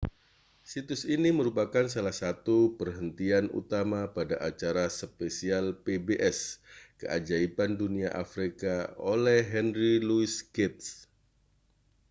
situs ini merupakan salah satu perhentian utama pada acara spesial pbs keajaiban dunia afrika oleh henry louis gates